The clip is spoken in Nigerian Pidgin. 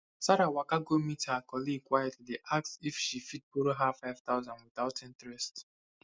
sarah waka go meet her colleague quietly ask if she fit borrow her 5000 without interest